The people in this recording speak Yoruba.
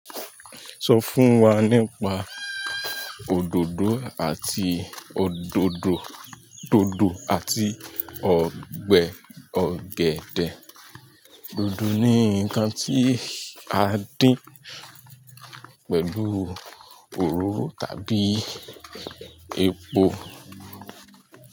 Sọ fún wa nípa òdòdó àti òdòdó, dòdò àti ọgbẹ ọ̀gẹ̀dẹ̀. Dòdò ni nǹkan tí a dín pẹ̀lú òróró tàbí epo.